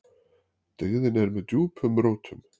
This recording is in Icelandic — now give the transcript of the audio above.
Dyggðin er með djúpum rótum.